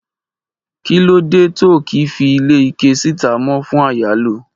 kí ló De to ki fi ile ike sita mo fún iyalo